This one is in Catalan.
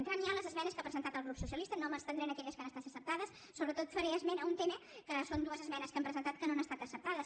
entrant ja a les esmenes que ha presentat el grup socialista no m’estendré en aquelles que han estat acceptades sobretot faré esment d’un tema que són dues esmenes que hem presentat que no han estat acceptades